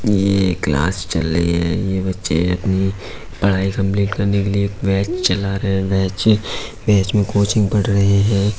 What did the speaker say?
ये क्लास चल रही है। ये बच्चे अपनी पढ़ाई कम्पलिट करने के लिए एक बैच चला रहे हैं। बैच बैच मे कोचिंग पढ रहे हैं।